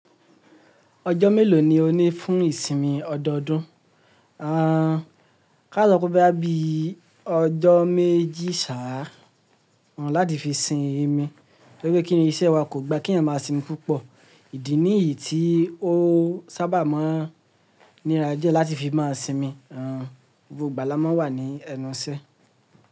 Ọjọ́ mélòó ni o ní fún ìsinmi ọdọọdún? Ká sa sope bóyá bí ọjọ́ méjì sá a láti fi sin ìmi, torí pé kíni iṣẹ́ wa kò gba keyàn máa sinmi púpọ̀. Ìdí nìyí tí o sábà máa ń níra diẹ́ láti fi máa sinmi. A n, gbogbo ìgbà la máa ń wà ní ẹnu iṣẹ́